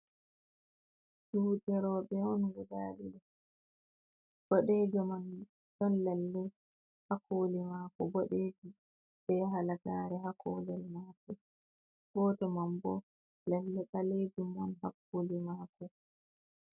Juuɗe roɓe on guda ɗiɗi, boɗejo man ɗon lalle hakoli mako bodejo be halagare ha kolel mako, goto man bo lalle danejum man ha koli mako.